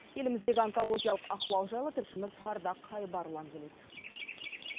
еліміздегі онкологиялық ахуал жайлы тілшіміз ардақ айбарұлы әңгімелейді